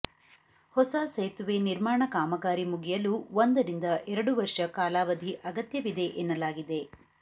ಹೊಸ ಸೇತುವೆ ನಿರ್ಮಾಣ ಕಾಮಗಾರಿ ಮುಗಿಯಲು ಒಂದರಿಂದ ಎರಡು ವರ್ಷ ಕಾಲಾವಧಿ ಅಗತ್ಯವಿದೆ ಎನ್ನಲಾಗಿದೆ